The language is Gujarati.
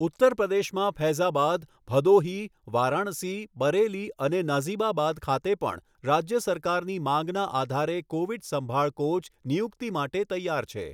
ઉત્તરપ્રદેશમાં ફૈઝાબાદ, ભડોહી, વારાણસી, બરેલી અને નાઝિબાબાદ ખાતે પણ રાજ્ય સરકારની માંગના આધારે કોવિડ સંભાળ કોચ નિયુક્તિ માટે તૈયાર છે